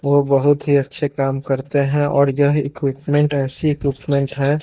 वो बहुत ही अच्छे काम करते हैं और यह इक्विपमेंट ऐसी इक्विपमेंट है।